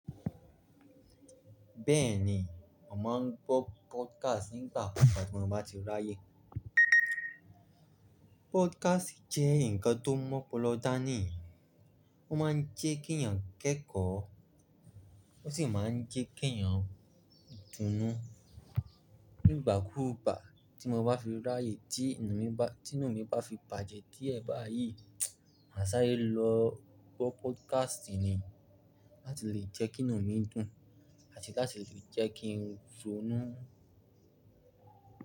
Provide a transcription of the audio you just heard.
Bẹ́ẹ̀ni, màá ń gbọ́ podcast nígbà kúùgbà tí mo bá ti ráyè. Podcast jẹ́ nǹkan tó mọ́ ọ̀pọ̀lọpọ̀ dání, ó máa ń jẹ́ kí ènìyàn kẹ́kọ̀ọ́ ó sì máa ń jẹ́ kí èyàn dùnún. Nígbà kúùgbà tí mo bá fi ráyè tí inú mi bá, tí inú mi bá fi bàjẹ́ díẹ̀ báyìí, màá sáré lọ gbọ́ podcast nì láti lè jẹ́ kí inú mi dùn àti láti lè jẹ́ kí n fúnú.